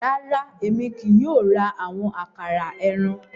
Rara, Èmi kìí yóò ra awọn àkàrà ẹran